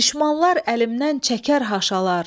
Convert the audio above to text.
Düşmanlar əlimdən çəkər haşalar.